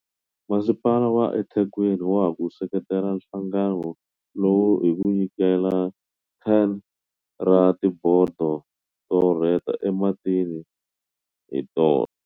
Masipala wa eThekwini wa ha ku seketela nhlangano lowu hi ku nyikela 10 ra tibodo to rheta ematini hi tona.